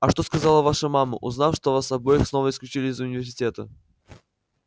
а что сказала ваша мама узнав что вас обоих снова исключили из университета